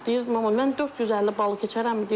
Deyir mama, mən 450 balı keçərəmmi?